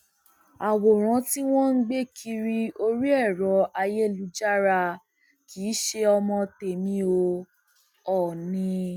àwòrán tí wọn ń gbé kiri orí ẹrọ ayélujára kì í ṣe ọmọ tẹmí o òónì